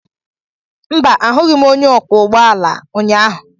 Mba, ahụghị m onye ọkwọ ụgbọ ala ụnyaahụ.